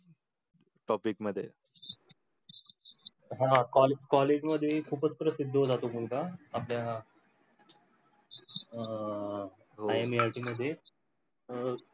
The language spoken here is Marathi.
topic मध्ये. हा college मध्ये खूपच प्रसिद्ध होता तो मुलगा आपल्या अं मध्ये